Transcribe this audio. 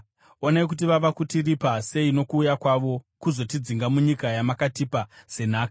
Onai kuti vava kutiripa sei nokuuya kwavo kuzotidzinga munyika yamakatipa senhaka.